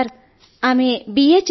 sir B